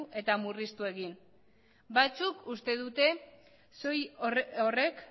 eta murriztu egin dira batzuk uste dute horrek